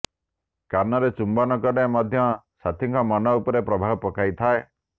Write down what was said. କାନରେ ଚୁମ୍ବନ କଲେ ମଧ୍ୟ ସାଥୀଙ୍କ ମନ ଉପରେ ପ୍ରଭାବ ପକାଇଥାଏ